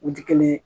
U ti kelen ye